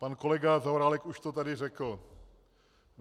Pan kolega Zaorálek už to tady řekl.